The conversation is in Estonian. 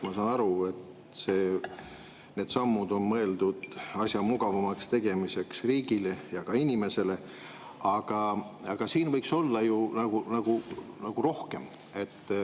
Ma saan aru, et need sammud on mõeldud asja riigile ja ka inimesele mugavamaks tegemiseks, aga siin võiks nagu rohkem.